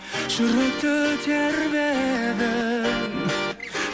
жүректі тербедің